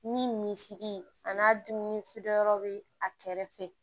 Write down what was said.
Ni misidi a n'a dumuni feere yɔrɔ bɛ a kɛrɛfɛ